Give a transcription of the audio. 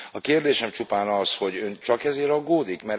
A kérdésem csupán az, hogy Ön csak ezért aggódik?